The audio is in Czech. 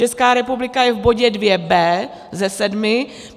Česká republika je v bodě 2b ze sedmi.